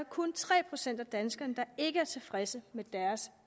kun tre procent af danskerne der ikke er tilfredse med deres